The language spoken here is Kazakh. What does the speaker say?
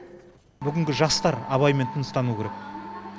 бүгінгі жастар абаймен тыныстануы керек